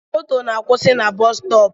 Moto na akwụsị na busustopu